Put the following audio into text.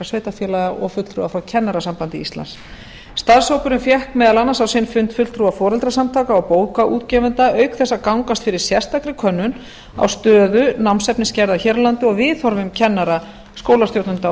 sveitarfélag og fulltrúa frá kennarasambandi íslands starfshópinn fékk meðal annars á sinn fund fulltrúa foreldrasamtaka og bókaútgefenda auk þess að gangast fyrir sérstakri könnun á stöðu námsefnisgerðar hér á landi og viðhorfum kennara skólastjórnenda og